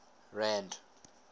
rand